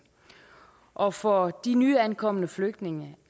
og for de nyankomne flygtninge